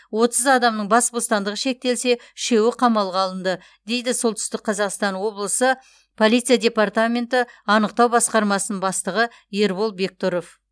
отыз адамның бас бостандығы шектелсе үшеуі қамауға алынды дейді солтүстік қазақстан облысы полиция департаменті анықтау басқармасының бастығы ербол бектұров